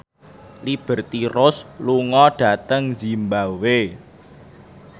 Liberty Ross lunga dhateng zimbabwe